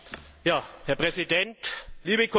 Herr Präsident, liebe Kollegen!